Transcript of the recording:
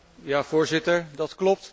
Voorzitter, dat klopt.